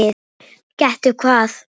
Gettu hvað?